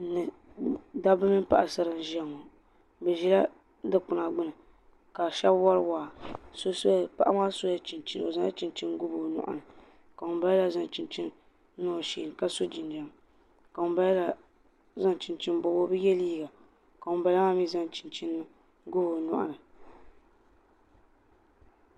Daba nipaɣasara n ʒaya ŋɔ. bi ʒila dikpuna gbuni. vkashabi wari waa paɣa maa sola chinchini ɔ zaŋla chinchini n googi ɔ nyɔɣu. ka ŋun bala la zaŋ chinchini so ɔ sheeni ka sɔ jinjam. ka ŋun bala maa mi zaŋ chinchini ngobi ɔ nyɔɣuni